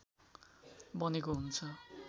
बनेको हुन्छ